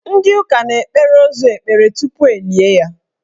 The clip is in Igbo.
Ndị ụka na-ekpere ozu ekpere tupu elie ya.